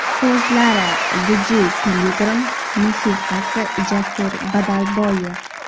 So‘zlari Dj Piligrim, musiqasi Jasur Badalboyev.